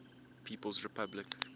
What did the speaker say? people s republic